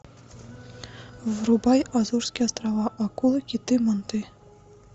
врубай азорские острова акулы киты манты